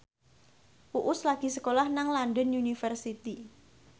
Uus lagi sekolah nang London University